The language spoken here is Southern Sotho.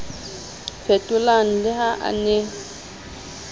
fetolang le ha a ne